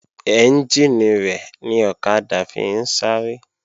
Ẹ́njìnì rẹ̀ ni ọ̀kadà fi ń sáré